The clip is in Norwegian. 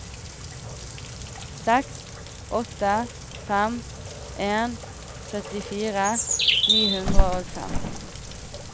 seks åtte fem en syttifire ni hundre og fem